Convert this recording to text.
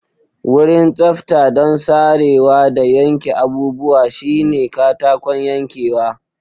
Wurin tsafta don sarewa da yanke abubuwa shine katakon yankewa.